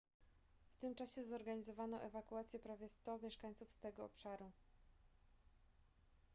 w tym czasie zorganizowano ewakuację prawie 100 mieszkańców z tego obszaru